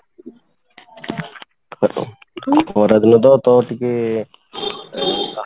ଖରା ଦିନ ତ ତ ଟିକେ